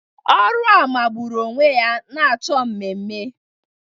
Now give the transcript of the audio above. Ọrụ a magburu onwe ya na-achọ ememe